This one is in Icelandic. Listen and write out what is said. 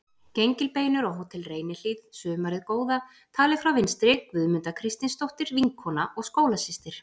Gengilbeinur á Hótel Reynihlíð sumarið góða, talið frá vinstri: Guðmunda Kristinsdóttir, vinkona og skólasystir